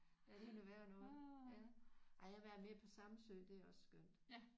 Ja det er noget værre noget ja ej jeg har været mere på Samsø det er også skønt